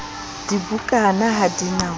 dibukana ha di na ho